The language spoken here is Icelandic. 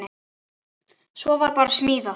Svo var bara smíðað.